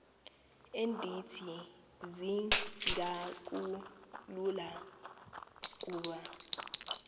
endithi zingakhulula ukuba